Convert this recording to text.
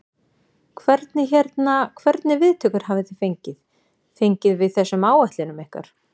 Hvernig hérna, hvernig viðtökur hafi þið fengið, fengið við þessum áætlunum ykkar?